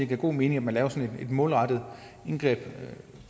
giver god mening at man laver sådan et målrettet indgreb et